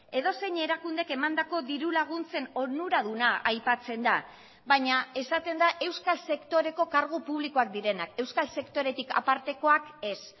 edozein erakundek emandako diru laguntzen onuraduna aipatzen da baina esaten da euskal sektoreko kargu publikoak direnak euskal sektoretik apartekoak ez